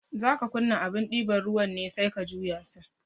Zaka kunna abun ɗiban ruwan ne sai ka juya sa